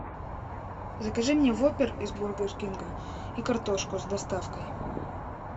закажи мне воппер из бургер кинга и картошку с доставкой